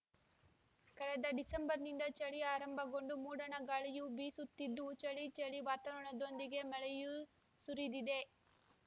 ಕಳೆದ ಡಿಸೆಂಬರ್‌ನಿಂದ ಚಳಿ ಆರಂಭಗೊಂಡು ಮೂಡಣ ಗಾಳಿಯು ಬೀಸುತ್ತಿದ್ದು ಚಳಿ ಚಳಿ ವಾತಾವರಣದೊಂದಿಗೆ ಮಳೆಯೂ ಸುರಿದಿದೆ